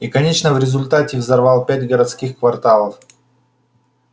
и конечно в результате взорвал пять городских кварталов